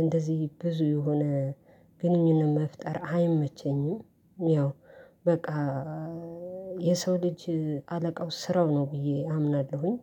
እንደዚህ ብዙ የሆነ ግንኙነት መፍጠር አይመቸኝም። ያው በቃ የሰው ልጅ አለቃው ስራው ነው ብዬ አምናለሁኝ።